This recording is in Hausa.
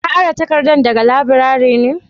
Ka ara takarda daga laburare ne?